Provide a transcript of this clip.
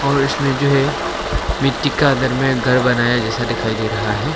और इसमें जो है मिट्टी का अंदर में घर बनाया है जैसा दिखाई दे रहा है।